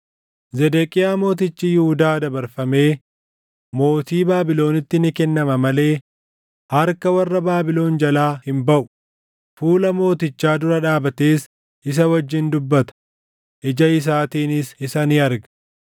Zedeqiyaa mootichi Yihuudaa dabarfamee mootii Baabilonitti ni kennama malee harka warra Baabilon jalaa hin baʼu; fuula mootichaa dura dhaabatees isa wajjin dubbata; ija isaatiinis isa ni arga.